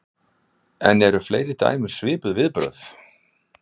En eru fleiri dæmi um svipuð viðbrögð?